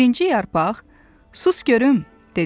Birinci yarpaq, "Sus görüm" dedi.